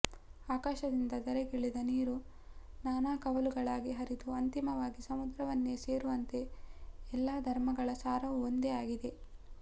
ಆಕಾಶದಿಂದ ಧರೆಗಿಳಿದ ನೀರು ನಾನಾ ಕವಲುಗಳಾಗಿ ಹರಿದು ಅಂತಿಮವಾಗಿ ಸಮುದ್ರವನ್ನೆ ಸೇರುವಂತೆ ಎಲ್ಲಾ ಧರ್ಮಗಳ ಸಾರವೂ ಒಂದೇ ಆಗಿದೆ